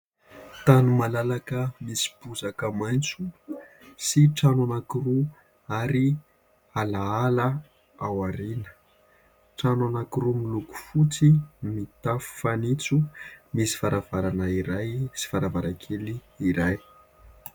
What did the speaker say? Tany malalaka misy bozaka maitso sy trano anankiroa ary ala ala ao aoriana. Trano anankiroa miloko fotsy, mitafo fanitso. Misy varavarana iray sy varavarankely iray.